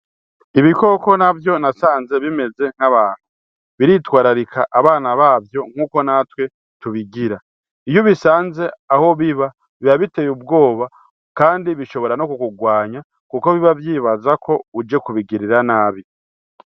Ibikoko navyo nasanze bimeze nk'abantu biritwararika abana bavyo nkuko natwe tubigira iyo ubisanze aho biba biba biteye ubwoba kandi bishobora no kukurwanya kuko biba vyibazako uje kubigirira nabi.